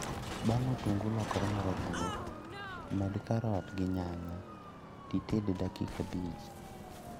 Bang' otungu lokore marabuora, med karot gi nyanya tited e dakika abich